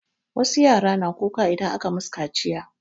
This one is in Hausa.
Wasu yara na kuka idan aka masu kaciya.